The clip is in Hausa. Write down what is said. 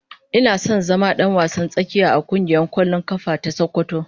Ina son zama dan wasan tsakiya a kungiyar kwallon kafa ta sokoto.